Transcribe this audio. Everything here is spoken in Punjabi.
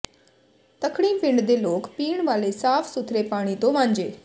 ਤੱਖਣੀ ਪਿੰਡ ਦੇ ਲੋਕ ਪੀਣ ਵਾਲੇ ਸਾਫ਼ ਸੁਥਰੇ ਪਾਣੀ ਤੋਂ ਵਾਂਝੇ